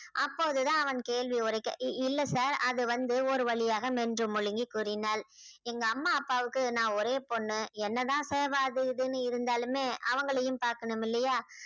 அப்போதுதான் அவன் கேள்வி உரைக்க இ~ இல்ல sir அது வந்து ஒரு வழியாக மென்று முழுங்கி கூறினாள் எங்க அம்மா அப்பாவுக்கு நான் ஒரே பொண்ணு என்னதான் தேவ அது இதுன்னு இருந்தாலுமே அவங்களையும் பாக்கணும் இல்லையா